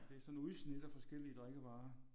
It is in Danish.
Det er sådan et udsnit af forskellige drikkevarer